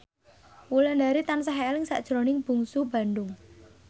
Wulandari tansah eling sakjroning Bungsu Bandung